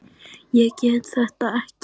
Ég get þetta ekki.